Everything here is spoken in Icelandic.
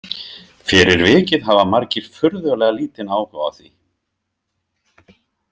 Fyrir vikið hafa margir furðulega lítinn áhuga á því.